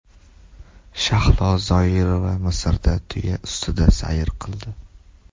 Shahlo Zoirova Misrda tuya ustida sayr qildi.